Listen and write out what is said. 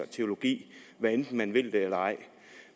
teologi hvad enten man vil det eller ej